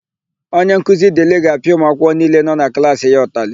Onyenkuzi Dịlị ga-apịa ụmụakwụkwọ niile nọ na klaasị ya ụtalị.